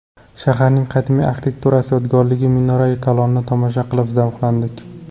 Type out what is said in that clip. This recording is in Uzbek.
Shaharning qadimiy arxitektura yodgorligi Minorai Kalonni tomosha qilib zavqlandik.